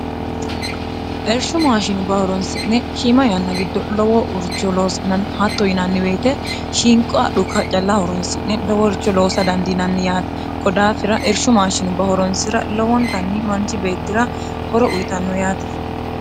ershu maashinu bahoronsi'ne hiima yanna giddo lowo urcholoos'nni hatto yinanniweyite shiinqo adhu kaccalla horonsi'ne dowourcho loosa dandiinanni yaate kodaafira ershu maashinu bahoronsi'ra lowontanni manchi beettira horo uyitanno yaate